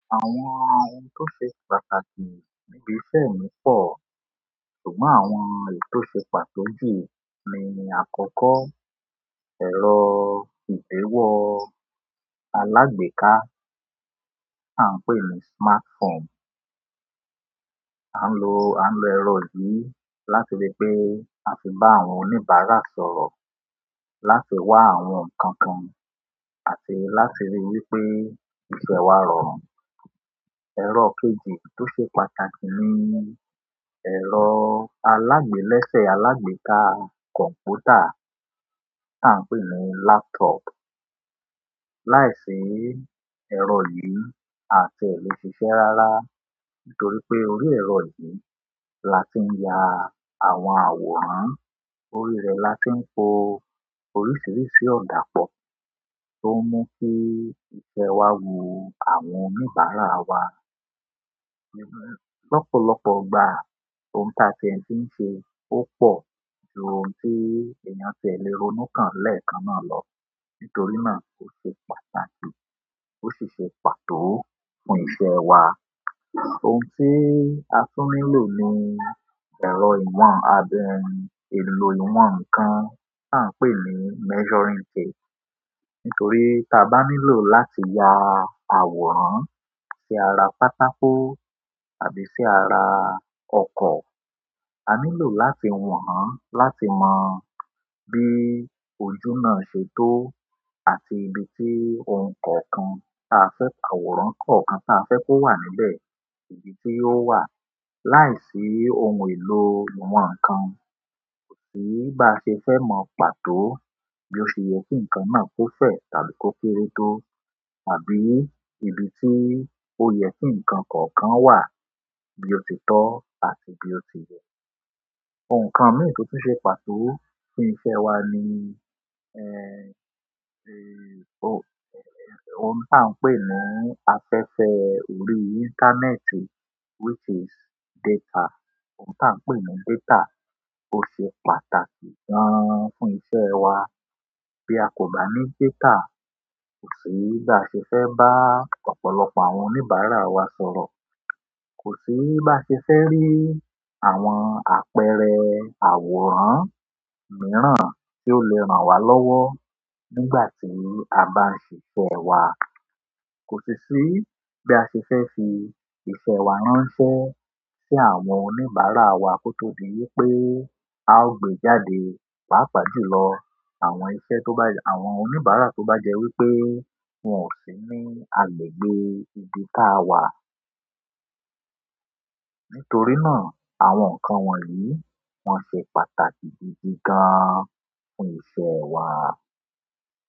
Àwọn ohun tó ṣe pàtàkì níbi iṣẹ́ mi pọ̀. Ṣùgbọ́n àwọn èyí tò ṣe pàtó jù ni ní àkọ́kọ́ ẹ̀rọ ìgbéwọ alágbèéká tià ń pè ní smartphone. A ń lo, a ń lo ẹ̀rọ yìí láti ri pé a fì n bá àwọn oníbàárà sọ̀rọ̀, láti wá àwọn ǹkan kan àti láti rí wípé ìṣe wa rọrùn. Ẹ̀rọ kejì tó ṣe pàtàkì ni ẹ̀rọ alágbèé lẹ́sẹ̀ alágbèéká kọ̀m̀pútà tià ń pè ní laptop. Láìsí ẹrọ yí àti ẹ lè ṣìṣe rárá nítorí pé orí ẹrọ yìí láti yá à àwọn àwòrán orí ẹ láti ń po oríṣiríṣi ọda pọ tó ń mú kí iṣẹ́ wa wù àwọn oníbàárà wa. Ọ̀pọ̀lọpọ̀ ìgbà ohun táa tiẹ́ ti ń ṣe ó pọ̀ ju ohun tí èèyàn ti lè ronú kán lẹ́ẹ̀kan náà lọ nítorí náà ó ṣe pàtàkì ó sì ṣe pàtó fún iṣẹ́ wa. Ohun tí a tún nílò ni ẹ̀rọ ìwọ̀n àbí ẹni ìlò ìwọ̀n kan tí à ń pè ní measuring tape. Nítorí tí a bá nílọ̀ láti ya àwòrán sí ara pátákó àbí sí ara ọkọ̀, a nílò láti wan, láti mọ bí ojú náà ṣe tó àti ibi tí ohun kọkan tí a fi àwòrán kọ̀ọ̀kan tí a fẹ́ kó wà níbẹ̀, ibi tí ó wà. Láìsí ohun èlò ìwan kan kò sí bá ṣe fẹ́ mọ pàtó bí ó ṣe yẹ kí ǹkan náà kó fẹ tàbí kó kéré tó àbí ibi tí ó yẹ kí ǹkan kọ̀ọ̀kan wà bí ó ti tọ́ àti bí ó ti yẹ. Òǹkọ̀ kan mìíràn tó ṣe pàtó fún iṣẹ́ wa ni, ẹ́, è, ohun, è, ohun tá ń pè ní afẹ́fẹ́ orí íńtánẹ́ẹ̀tì which is data. Ohun tá ń pè ní data ó ṣe pàtàkì gan fún iṣẹ́ wa. Bí a kò bá ní data kò sí bá ṣe fẹ́ bá ọ̀pọ̀lọpọ̀ àwọn oníbàárà wa sọ̀rọ̀, kò sí bá ṣe fẹ́ rí àwọn àpẹẹrẹ àwòrán mìíràn tí ó lè ràn wa lọ́wọ́ nígbà tí a bá ń ṣiṣẹ́ wa, kò sì sí bí a ṣe fẹ́ fi iṣẹ́ wa ránṣẹ́ sí àwọn oníbàárà wa kó tó di wípé a ó gbé jáde pàápàá jù lọ àwọn iṣẹ́ tó bá jẹ́ àwọn oníbàárà tó bá jẹ wípé wọn ò sí ní agbègbè ibi táa wà. Nítorí náà àwọn ǹkan wọ̀nyí wọ́n ṣe pàtàkì gidi gan fún iṣẹ́ wa.